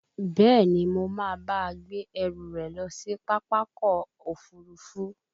Bẹ́ẹ̀ni, Mo máa bá a gbé ẹrù rẹ̀ lọ sí Pápákọ̀ òfurufú